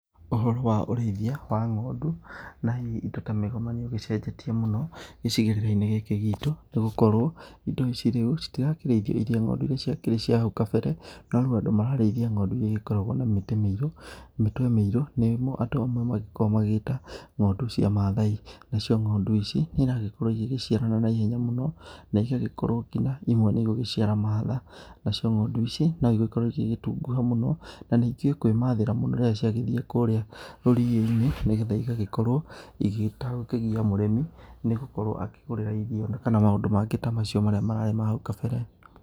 Ũhoro wa ũrĩithia wa ng'ondũ na hihi indo ta mĩgoma nĩũgĩcenjetie mũno gĩcigĩrĩrainĩ gĩkĩ gitũ nĩgũkorwo indo ici rĩũ citirakĩrĩithio irĩ ng'ondu irĩa ciakĩrĩ cia hau kabere no rĩu andũ mararĩithia ng'ondu igĩkoragwo na mĩtĩ miĩrũ, mĩtwe mĩirũ nĩmo andũ amwe magĩkoragwo magĩgĩta ng'ondu cia mathai nacio ng'óndu ici niĩragĩkorwo igĩgĩciarana na ihenya mũno na igagĩkorwo ngina imwe nĩigũgĩciara mahatha, nacio ng'ondu ici nũigĩkorwo igĩgĩtunguha mũno na nĩikĩũĩ kwĩmathĩra mũno rĩrĩa ciagĩthie kũrĩa rũriĩnĩ nĩgetha igagĩkorwo igĩtagũkĩgia mũrĩmi nĩgũkorwo akĩgũrĩra irio na kana ta maũndũ mangĩ ta macio mararĩ hau kabere.